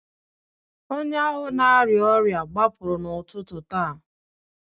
onye ahụ na-arịa ọrịa a gbapụrụ n'ụtụtụ taa